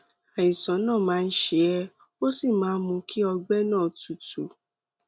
àìsàn náà máa ń ṣe é ó sì máa ń mú kí kí ọgbẹ náà tútù